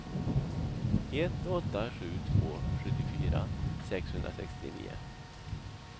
ett åtta sju två sjuttiofyra sexhundrasextionio